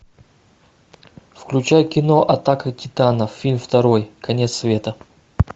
включай кино атака титанов фильм второй конец света